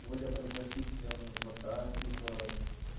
более предпочтителен вк типа